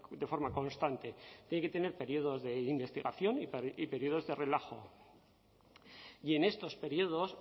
de forma constante tiene que tener períodos de investigación y períodos de relajo y en estos períodos